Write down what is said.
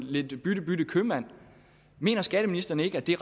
lidt bytte bytte købmand mener skatteministeren ikke at det